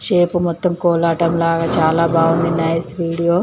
Shape మొత్తము కోలాటం లాగా చాలా బాగుంది నైస్ వీడియో .